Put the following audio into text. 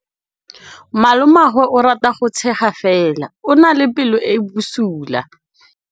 Malomagwe o rata go tshega fela o na le pelo e e bosula.